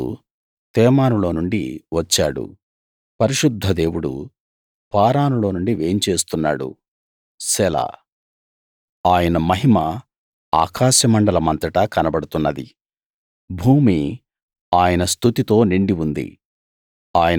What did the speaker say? దేవుడు తేమాను లో నుండి వచ్చాడు పరిశుద్ధ దేవుడు పారాను లో నుండి వేంచేస్తున్నాడు సెలా ఆయన మహిమ ఆకాశమండలమంతటా కనబడుతున్నది భూమి ఆయన స్తుతితో నిండి ఉంది